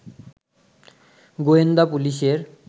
গোয়েন্দা পুলিশের